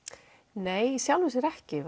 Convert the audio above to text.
nei í sjálfu sér ekki